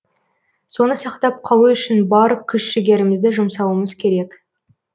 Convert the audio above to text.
соны сақтап қалу үшін бар күш жігерімізді жұмсауымыз керек